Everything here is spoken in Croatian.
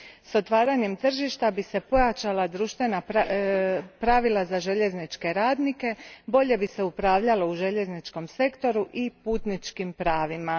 S otvaranjem tržišta bi se pojačala pravila za željezničke radnike, bolje bi se upravljalo u željezničkom sektoru i putničkim pravima.